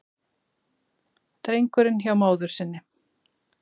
Drengurinn hjá móður sinni